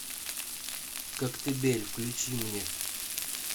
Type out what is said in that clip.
коктебель включи мне